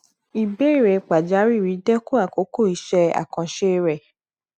ìbéèrè pàjáwìrì dẹkun àkókò iṣẹ àkànṣe rẹ